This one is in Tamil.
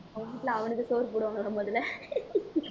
அவன் வீட்ல அவனுக்கு சோறு போடுவாங்களா முதல்ல